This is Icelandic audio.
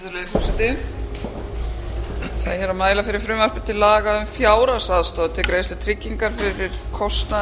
er hér að mæla fyrir frumvarpi til laga um fjárhagsaðstoð til greiðslu tryggingar fyrir kostnaði